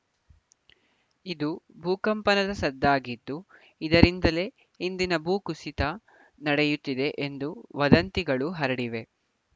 ಇದು ಭೂಕಂಪನದ ಸದ್ದಾಗಿದ್ದು ಇದರಿಂದಲೇ ಇಂದಿನ ಭೂಕುಸಿತ ನಡೆಯುತ್ತಿದೆ ಎಂದು ವದಂತಿಗಳು ಹರಡಿವೆ